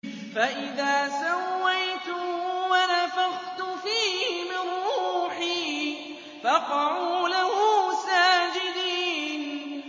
فَإِذَا سَوَّيْتُهُ وَنَفَخْتُ فِيهِ مِن رُّوحِي فَقَعُوا لَهُ سَاجِدِينَ